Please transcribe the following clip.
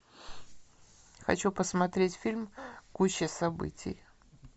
хочу посмотреть фильм куча событий